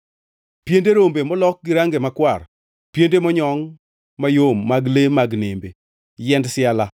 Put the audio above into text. piende rombe molok gi range makwar, piende monyongʼ mayom mag le mag nembe, yiend siala;